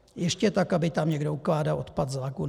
Ještě tak aby tam někdo ukládal odpad z lagun.